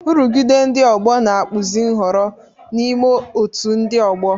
Nrụgide ndị ọgbọ na-akpụzi nhọrọ n'ime otú ndị ọgbọ.